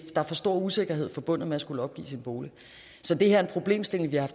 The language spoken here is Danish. er for stor usikkerhed forbundet med at skulle opgive sin bolig så det her er en problemstilling vi har